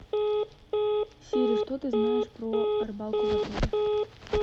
сири что ты знаешь про рыбалку в отеле